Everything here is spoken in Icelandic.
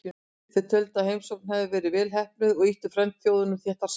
Þeir töldu að heimsóknin hefði verið vel heppnuð og ýtt frændþjóðunum þéttar saman.